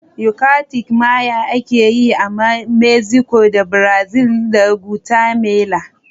Yucatec Maya ake yi a Mexico da Belize da Guatemala